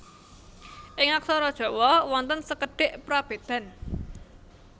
Ing aksara Jawa wonten sekedhik prabedan